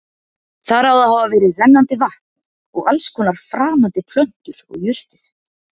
Þar á að hafa verið rennandi vatn og alls konar framandi plöntur og jurtir.